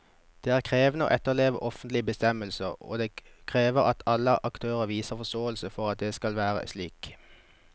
Det er krevende å etterleve offentlige bestemmelser, og det krever at alle aktørene viser forståelse for at det skal være slik.